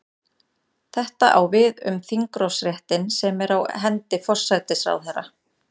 Þetta á við um þingrofsréttinn sem er á hendi forsætisráðherra.